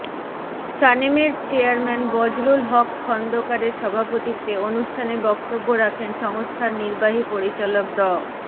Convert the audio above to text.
সানেমের চেয়ারম্যান বজলুল হক খন্দকারের সভাপতিত্বে অনুষ্ঠানে বক্তব্য রাখেন সংস্থার নির্বাহী পরিচালক ড